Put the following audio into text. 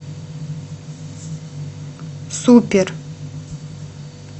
супер